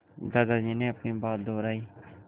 दादाजी ने अपनी बात दोहराई